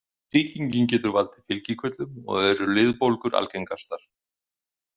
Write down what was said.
Sýkingin getur valdið fylgikvillum og eru liðbólgur algengastar.